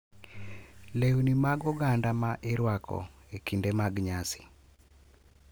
Lewni mag oganda ma irwako e kinde mag nyasi,